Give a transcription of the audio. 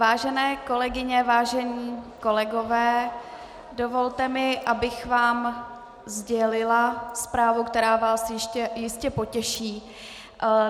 Vážené kolegyně, vážení kolegové, dovolte mi, abych vám sdělila zprávu, která vás jistě potěší.